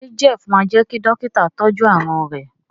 ṣe Jeff má jé kí Dọ́kítà tọjú àrùn rẹ?